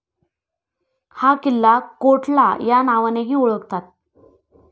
हा किल्ला 'कोठला' या नावानेही ओळखतात.